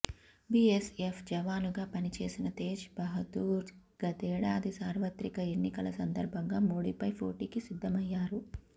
BSF జవానుగా పనిచేసిన తేజ్ బహదూర్ గతేడాది సార్వత్రిక ఎన్నికల సందర్భంగా మోడీపై పోటీకి సిద్ధమయ్యారు